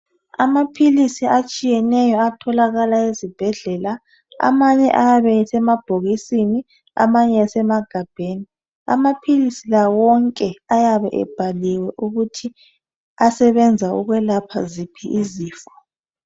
Amaphilisi atshiyeneyo atholakala ezibhedlela amanye ayabe esemabhokisini amanye esemagabheni amaphilisi la wonke ayabe ebhaliwe ukuthi asebenza ukwelapha ziphi izifo.